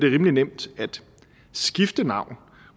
rimelig nemt at skifte navn